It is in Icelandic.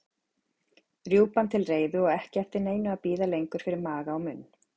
Rjúpan til reiðu og ekki eftir neinu að bíða lengur fyrir maga og munn.